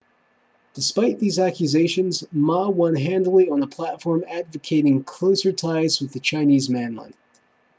despite these accusations ma won handily on a platform advocating closer ties with the chinese mainland